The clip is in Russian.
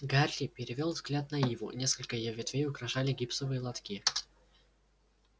гарри перевёл взгляд на иву несколько её ветвей украшали гипсовые лотки